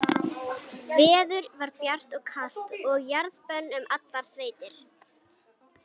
Veður var bjart og kalt og jarðbönn um allar sveitir.